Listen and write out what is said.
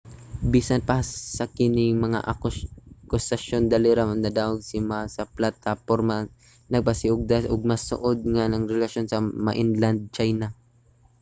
bisan pa sa kini nga mga akusasyon dali ra nadaog si ma sa plataporma nga nagpasiugda og mas suod nga relasyon sa mainland china